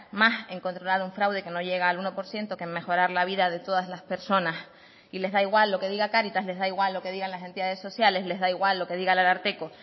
más en controlar un fraude que no llega al uno por ciento que en mejorar la vida de todas las personas y les da igual lo que diga caritas les da igual lo que digan las entidades sociales les da igual lo que diga el ararteko